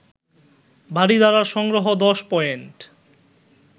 বারিধারার সংগ্রহ ১০ পয়েন্ট